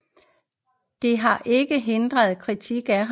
Det har ikke hindret kritik af ham